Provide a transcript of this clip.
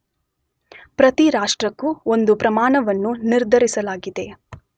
ಪ್ರತಿ ರಾಷ್ಟ್ರಕ್ಕೂ ಒಂದು ಪ್ರಮಾಣವನ್ನು ನಿರ್ಧರಿಸಲಾಗಿದೆ.